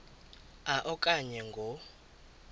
a okanye ngo